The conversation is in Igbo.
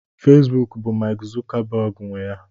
Facebook bụ Mark Zuckerberg nwe ya.